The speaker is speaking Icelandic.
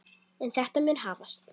En þetta mun hafast.